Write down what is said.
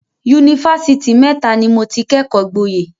Yunifásitì mẹ́ta ni mo ti kẹ́kọ̀ọ́ gboyè.